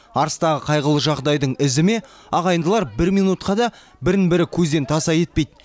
арыстағы қайғылы жағдайдың ізі ме ағайындылар бір минутқа да бірін бірі көзден таса етпейді